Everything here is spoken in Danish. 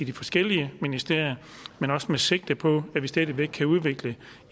de forskellige ministerier men også med sigte på at vi stadig væk kan udvikle